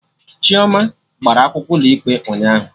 Chioma gbara akwụkwọ ụlọ ikpe ụnyaahụ